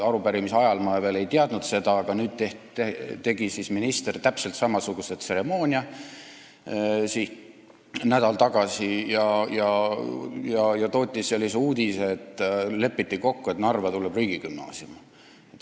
Arupärimise esitamise ajal ma veel ei teadnud seda, et minister tegi nädal tagasi täpselt samasuguse tseremoonia ja tootis sellise uudise, et lepiti kokku, et Narva tuleb riigigümnaasium.